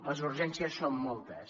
les urgències són moltes